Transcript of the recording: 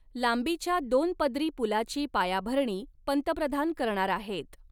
लांबीच्या दोन पदरी पुलाची पायाभरणी पंतप्रधान करणार आहेत.